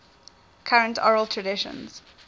current oral traditions